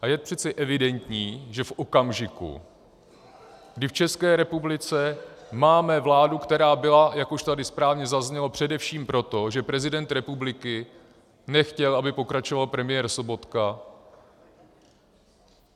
A je přece evidentní, že v okamžiku, kdy v České republice máme vládu, která byla, jak už tady správně zaznělo, především proto, že prezident republiky nechtěl, aby pokračoval premiér Sobotka.